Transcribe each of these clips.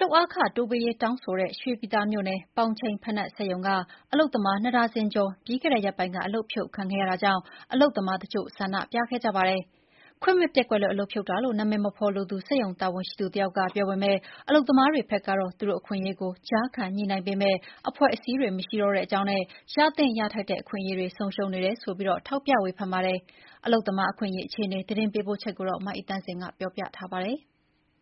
လုပ်အားခ တိုးပေးရေးတောင်းဆိုတဲ့ ရွှေပြည်သာမြို့နယ် ပေါင်ချိန်ဘိနပ် စက်ရုံက အလုပ်သမား နှစ်ဒါဇင်ကျော် ပြီးခဲ့တဲ့ရက်ပိုင်းက အလုပ်ဖြုတ်ခံခဲ့ရတာကြောင့် အလုပ်သမားတချို့ ဆန္ဒပြခဲ့ကြပါတယ်။ ခွင့်မဲ့ပျက်ကွက်တဲ့အတွက် အလုပ်ဖြုတ်တာလို့ အမည်မဖေါ်လိုသူ စက်ရုံတာဝန်ရှိသူတယောက်က ပြောပေမဲ့ အလုပ်သမားတွေဘက်ကတော့ သူတို့အခွင့်အရေးကို ကြားခံညှိနှိုင်းပေးပေးမယ့် အဖွဲ့အစည်းတွေ မရှိတော့တဲ့အကြောင်းနဲ့ ရသင့်ရထိုက်တဲ့ အခွင့်အရေးတွေ ဆုံးရှုံးနေတယ်ဆိုပြီး ထောက်ပြ ဝေဖန်နေကြပါတယ်။ အလုပ်သမား အခွင့်အရေး အခြေအနေ သတင်းပေးပို့ချက်ကို မအိသန့်စင် က တင်ပြပေးပါမယ်။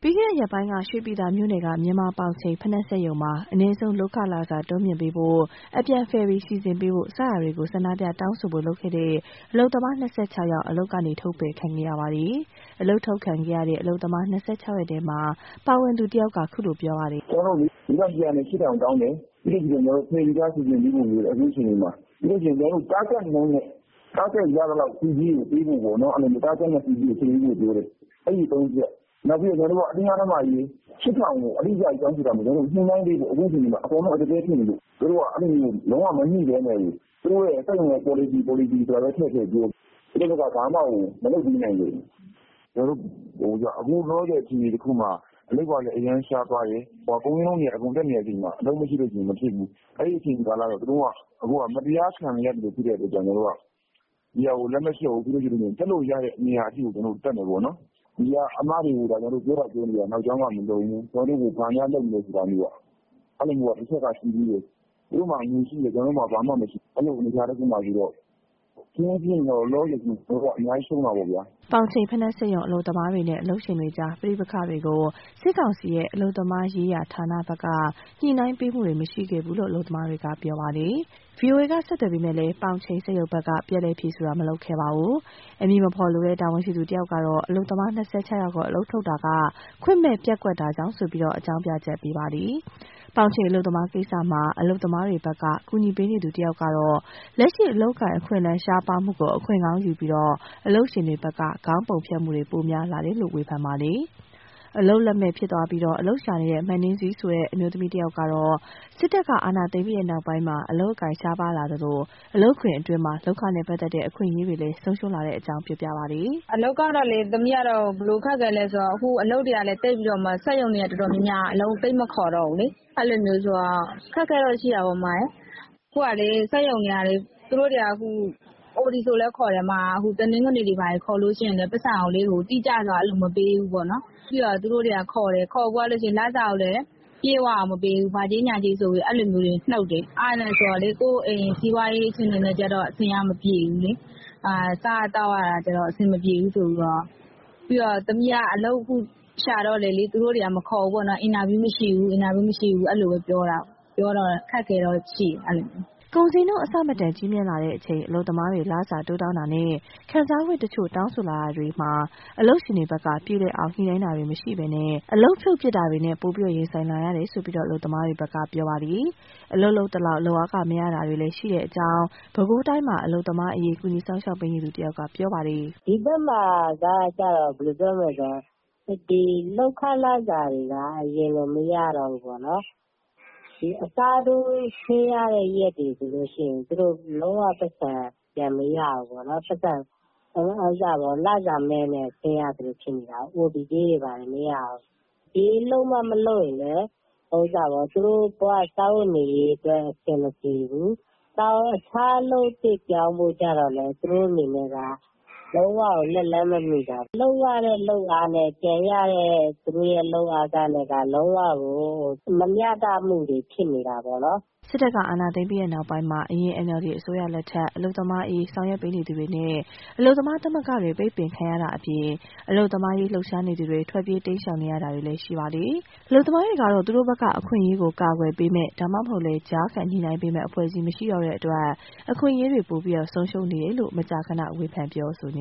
ပြီးခဲ့တဲ့ ရက်ပိုင်းက ရွှေပြည်သာမြို့နယ်က မြန်မာပေါင်ချိန် ဘိနပ် စက်ရုံမှာ အနည်းဆုံးလုပ်ခ လစာတိုး မြှင့်ပေးဖို့၊ အပြန်ဖယ်ရီ စီစဉ်ပေးဖို့ စတာတွေကို ဆန္ဒပြတောင်းဆိုဖို့ လုပ်ခဲ့တဲ့ အလုပ်သမား ၂၆ ဦးကို အလုပ်က ထုတ်ပယ်ခံခဲ့ရပါတယ်။ အလုပ်ထုတ်ခံခဲ့ရတဲ့ အလုပ်သမား ၂၆ ယောက်ထဲမှာ ပါဝင်သူ တဉီးက အခုလို ပြောပြပါတယ်။ " ကျနော်တို့ ၄၈၀၀ကနေ ၈၀၀၀တောင်းတယ်။ ဖယ်ရီကား စီစဉ်ပေးဖို့ တောင်းတယ်။ အခုအခြေအနေမှ ာဖယ်ရီကား စီစဉ်ပေးဖို့ တောင်းထားတယ်။ ပြီးရင် Target နှုန်းနဲ့ အဲဒါရသလောက် ဆုကြေးပေးဖို့ပြောတယ်။ အဲဒါကျနော်တို့တောင်းတဲ့အချက် ၃ချက် လစာ ၈၀၀၀ဆိုတာကလည်း အဲလို ပေးဖို့မဟုတ်ဘူး။ အဓိကက ကျနော်တို့ကို ကုန်ဈေးနှုန်းအရ အခက်အခဲဖြစ်နေလို့ ညှိနှိုင်းပေးစေချင်တာ။ ဒါတွေကိုပြောပေမယ့် ကုမ္ပဏီပေါ်လစီဆိုပြီးဘဲပြောတယ်။ အခုလောဆယ် အခြေအနေတခုမှာ အလုပ်ကလည်း အရမ်းရှားတယ်။ ကုန်ဈေးနှုန်းတက်နေချိန်မှာ အလုပ်မရှိရင် မဖြစ်ဘူး။ အဲလို အခြေအနေမှာ မတရားခံနေရလို့ တက်လို့ရလို့ရတဲ့ နေရာထိတက်မယ်။ ခုပြောသာပြောရတယ် နောက်ကြောင်းမလုံဘူး။ သူတို့မှာငွေရှိတယ် ကျနော်တို့မှာဘာမှမရှိဘူး။ ဖြစ်ချင်ဖြစ် ကျနော်တို့ကအရမ်း ရှုံးတာပေါ့ဗျာ " ပေါင်ချိန် ဘိနပ် စက်ရုံ အလုပ်သမားတွေနဲ့ အလုပ်ရှင်တွေကြား ပဋိပက္ခတွေကို စစ်ကောင်စီရဲ့ အလုပ်သမားရေးရာဌာနဘက်က ညှိနှိုင်းပေးမှုတွေမရှိခဲ့ဘူးလို့ အလုပ်သမားတွေက ပြောပါတယ်။ ပေါင်ချိန်စက်ရုံဘက် ဗွီအိုအေဘက်က ဆက်သွယ်တာမှာတော့ ပြန်လည်ဖြေဆိုတာ မလုပ်ခဲ့ပါဘူး။ အမည်မဖော်လိုတဲ့ တာဝန်ရှိသူတဦးကတော့ အလုပ်သမား ၂၆ယောက်ကို အလုပ်ထုတ်တာက ခွင့်မဲ့ပျက်ကွက်တာကြောင့်လို့ အကြောင်းပြချက်ပေးပါတယ်။ ပေါင်ချိန်အလုပ်သမားကိစ္စမှာ အလုပ်သမားတွေဘက်က ကူညီပေးနေသူတဦးကတော့ လက်ရှိ အလုပ်အကိုင် အခွင့်အလမ်း ရှားပါးမှုကို အခွင့်ကောင်းယူပြီး အလုပ်ရှင်တွေဘက်က ခေါင်းပုံဖြတ်မှုတွေပိုများလာတယ်လို့ ဝေဖန်ပါတယ်။ အလုပ်လက်မဲ့ဖြစ်သွားပြီး အလုပ်ရှာနေတဲ့ မနှင်းဆီဆိုတဲ့ အမျိုးသမီးတဉီးကတော့ စစ်တပ်ကအာဏာသိမ်းပြီးနောက်ပိုင်းမှာ အလုပ်အကိုင် ရှားပါးလာသလို လုပ်ငန်းခွင်အတွင်းမှာ လုပ်ခနဲ့ ပတ်သက်တဲ့ အခွင့်အရေးတွေ ဆုံးရှုံးလာတဲ့အကြောင်း ရှင်းပြပါတယ်။ " အလုပ်ကလေ ခုကစက်ရုံတွေ တော်တော်များများ အလုပ်မခေါ်ကြတော့ဘူးလေ။ အဲတော့ အခက်အခဲတွေရှိတာပေါ့။ အခုကစက်ရုံတွေက OTတွေလဲခေါ်တယ်။ ခေါ်ရင်လဲ တိကျစွာမပေးဘူး။ ခေါ်ပြီးရင်လဲ လစာကို တိကျစွာမပေးဘူး။ ဘာကြေးညာကြေးတွေ နုတ်တယ်။ အဲလိုကျ ကိုယ့်အိမ်စီးပွားရေးအတွက် မပြေကြပြန်ဘူး။ စားရသောက်ရတာအဆင်မပြေဘူးပေါ့။ ကျမလည်းအလုပ်တွေလျှောက်လဲ မခေါ်ကြ ဘူး " ကုန်ဈေးနှုန်း အဆမတန်ကြီးမြင့်လာချိန် အလုပ်သမားတွေ လစာတိုးတောင်းတာနဲ့ ခံစားခွင့်တချို့ တောင်းဆိုလာတာတွေမှုတွေမှာ အလုပ်ရှင်ဘက်က ပြေလည်အောင် ညှိနှိုင်းတာမရှိဘဲ အလုပ်ဖြုတ်ပစ်တာတွေနဲ့ ပိုမိုရင်ဆိုင်လာရတယ်လို့ အလုပ်သမားတွေဘက်ကပြောပါတယ်။ အလုပ်လုပ်သလောက် လုပ်အားခ မရတာတွေလည်း ရှိတဲ့အကြောင်း ပဲခူးတိုင်းမှာ အလုပ်သမားအရေး ကူညီဆောင်ရွက်ပေးနေသူ တဉီးက ပြောပါတယ်။ " ဒီဘက်မှာက လုပ်ခလစာက အရင်လိုမရတော့ဘူး။ နောက်အစားထိုး လုပ်ရရင်လဲ ပိုက်ဆံမရဘူး။ လစာမဲ့နဲ့ ဆင်းနေရသလိုဖြစ်နေတယ်။ OTကြေးတွေလည်းမရတော့ဘူး။ ဒီလိုမှမလုပ်ရင်လဲ။ သူတို့ဘဝ စားဝတ်နေရေးအတွက်အဆင်မပြေဘူး။ တခြားအလုပ်ပြောင်းဖို့လည်းသူတို့မှာ လုံးဝကိုလက်လှမ်း မမှီတာပေါ့။ လုပ်ရတဲ့အလုပ်နဲ့ပြန်ရတဲ့ လုပ်အားခက လုံးဝကိုမမျှတဘူးဖြစ်နေတာပေါ့" စစ်တပ်က အာဏာသိမ်းပြီးနောက်ပိုင်းမှာ အရင် NLD အစိုးရလက်ထက် အလုပ်သမားအရေး ဆောင်ရွက် နေသူတွေနဲ့ အလုပ်သမား သမဂ္ဂတွေ ပိတ်ပင်ခံရတာအပြင် အလုပ်သမားရေး လှုပ်ရှားနေသူတွေ ထွက်ပြေး တိမ်းရှောင်နေရတာတွေလည်း ရှိနေပါတယ်။ အလုပ်သမားတွေကတော့ သူတို့ဘက်က အခွင့်အရေးကို ကာကွယ်ပေးမဲ့ ဒါမှမဟုတ် ကြားခံညှိနိုင်းပေးမယ့် အဖွဲ့အစည်း မရှိတော့တဲ့အတွက် အခွင့်အရေးတွေ ပိုပြီး ဆုံးရှုံးနေတယ်လို့ မကြာခန ဝေဖန်ပြောဆိုနေ